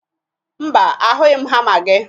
Mba, ahụghị m hama gị